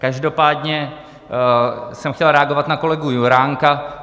Každopádně jsem chtěl reagovat na kolegu Juránka.